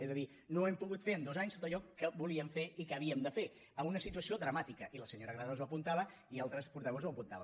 és a dir no hem pogut fer en dos anys tot allò que volíem fer i que havíem de fer en una situació dramàtica i la senyora granados ho apuntava i altres portaveus ho apuntaven